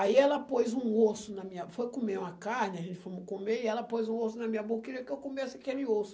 Aí ela pôs um osso na minha, foi comer uma carne, aí fomos comer, e ela pôs um osso na minha boca, queria que eu comesse aquele osso.